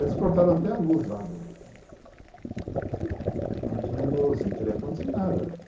Eles cortaram até a luz lá do... Lá não tinha luz, sem telefone, sem nada.